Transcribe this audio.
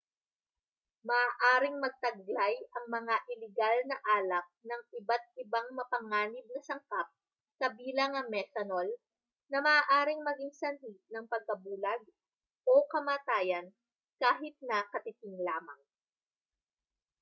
maaaring magtaglay ang mga iligal na alak ng iba't ibang mapanganib na sangkap kabilang ang methanol na maaaring maging sanhi ng pagkabulag o kamatayan kahit na katiting lamang